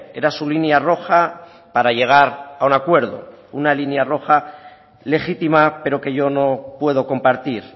era su línea roja para llegar a un acuerdo una línea roja legítima pero que yo no puedo compartir